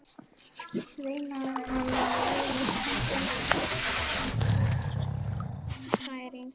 veinaði hann og vafðist tunga um tönn vegna geðshræringarinnar.